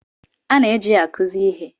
A na-eji ya akụzi ihe.